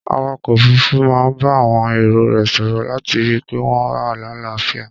Awakọ̀ òfuruufu máa ń bá àwọn èrò rẹ̀ sòrò láti rí i pé wọn wà láàáfíà.